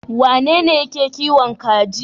Wanene yake kiwon kaji?